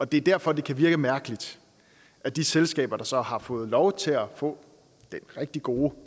det er derfor det kan virke mærkeligt at de selskaber der så har fået lov til at få den rigtig gode